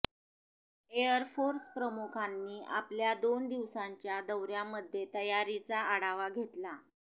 air force प्रमुखांनी आपल्या दोन दिवसांच्या दौऱ्यामध्ये तयारीचा आढावा घेतला